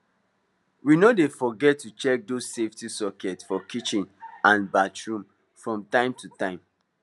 we no dey forget to check those safety sockets for kitchen and bathroom from time to time